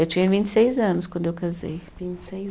Eu tinha vinte e seis anos quando eu casei. Vinte e seis